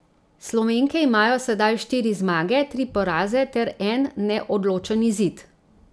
Slovenke imajo sedaj štiri zmage, tri poraze ter en neodločen izid.